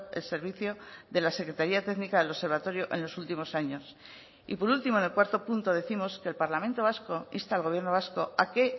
el servicio de las secretaría técnica del observatorio en los últimos años y por último en el cuarto punto décimos que el parlamento vasco insta al gobierno vasco a que